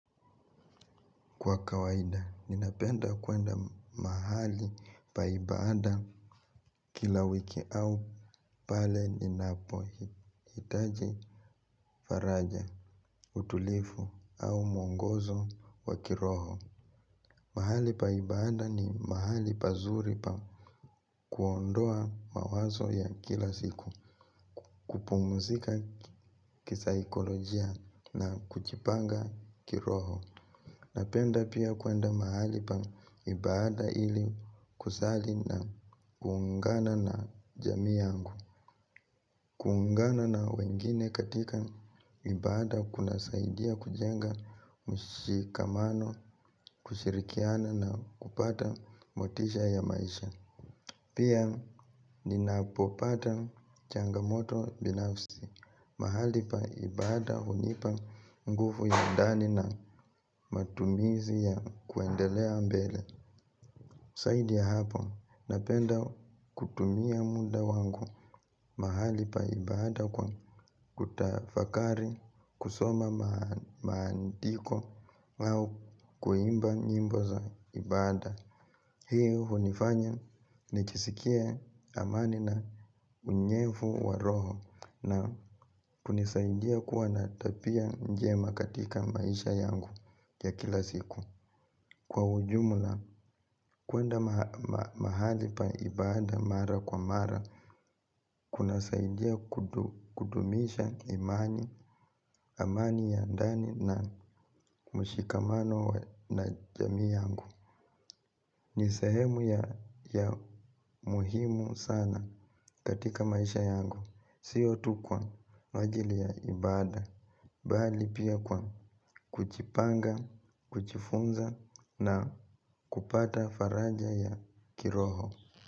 Kwa kawaida, ninapenda kuenda mahali pa ibada kila wiki au pale ninapohitaji faraja, utulivu au mwongozo wa kiroho. Mahali pa ibada ni mahali pazuri pa kuondoa mawazo ya kila siku, kupumzika kisaikolojia na kujipanga kiroho. Napenda pia kuenda mahali pa ibada ili kusali na kuungana na jamii yangu. Kuungana na wengine katika ibada kunasaidia kujenga mshikamano, kushirikiana na kupata motisha ya maisha. Pia ninapopata changamoto binafsi. Mahali pa ibada hunipa nguvu ya ndani na matumizi ya kuendelea mbele. Zaidi ya hapo napenda kutumia muda wangu. Mahali pa ibada kwa kutafakari kusoma maandiko au kuimba nyimbo za ibada. Hii hunifanya nijisikie amani na unyevu wa roho na kunisaidia kuwa na tabia njema katika maisha yangu ya kila siku. Kwa ujumla, kuenda mahali pa ibada mara kwa mara kunasaidia kudumisha amani ya ndani na mshikamano na jamii yangu. Ni sehemu ya muhimu sana katika maisha yangu. Sio tu kwa ajili ya ibada bali pia kwa kujipanga, kujifunza na kupata faraja ya kiroho.